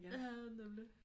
Ja nemlig